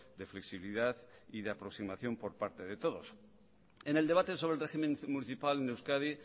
de flexibilidad y de aproximación por parte de todos en el debate sobre el régimen municipal en euskadi